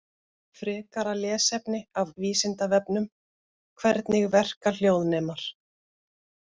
Frekara lesefni af Vísindavefnum: Hvernig verka hljóðnemar?